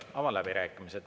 Avan läbirääkimised.